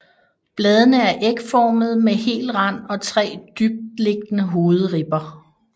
Bladene er ægformede med hel rand og tre dybtliggende hovedribber